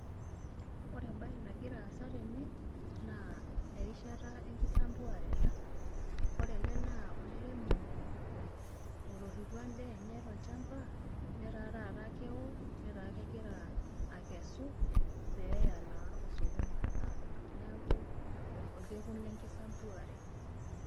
Ore ebae nagira aasa tene naa erishata enkisambuare ena. Ore ele naa olairemoni otoripo edaa enye tolchamba netaa tata keo netaa kegira akesu peyaa naa osokoni alo amir. Neeku orkekuu lekisumbuare.